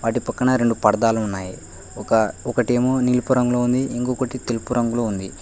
నీ పక్కన రెండు పర్దాలు ఉన్నాయి ఒక ఒకటేమో నీలిపురంలో ఉంది ఇంకొకటి తేరుపురంలో ఉంది.